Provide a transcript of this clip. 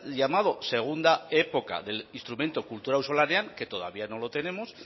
llamado segunda época del instrumento kultura auzolanean que todavía no lo tenemos